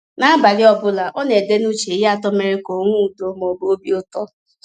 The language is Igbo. N’abalị ọ bụla, ọ na-ede n’uche ihe atọ mere ka o nwee udo ma ọ bụ obi ụtọ.